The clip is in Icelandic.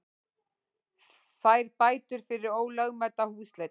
Fær bætur fyrir ólögmæta húsleit